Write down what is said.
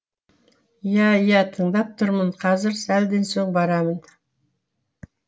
иә иә тыңдап тұрмын қазір сәлден соң барамын